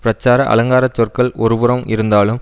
பிரச்சார அலங்கார சொற்கள் ஒரு புறம் இருந்தாலும்